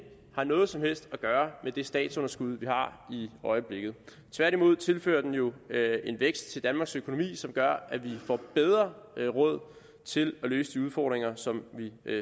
har noget som helst at gøre med det statsunderskud vi har i øjeblikket tværtimod tilfører den jo en vækst til danmarks økonomi som gør at vi får bedre råd til at løse de udfordringer som vi